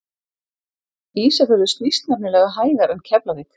Ísafjörður snýst nefnilega hægar en Keflavík!